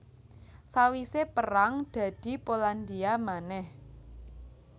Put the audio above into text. Sawisé perang dadi Polandia manèh